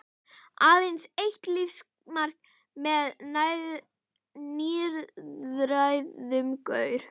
Aðeins eitt lífsmark með níræðum gaur.